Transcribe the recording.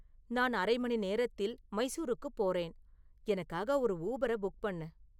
நான் அரை மணி நேரத்தில் மைசூருக்குப் போறேன் எனக்காக ஒரு ஊபரை புக் பண்ணு